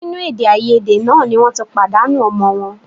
Nínú èdèàìyedè náà ni wọ́n ti pàdánù ọmọ wọn